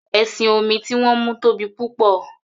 ẹṣin-omi ti wón mú tóbi púpọ.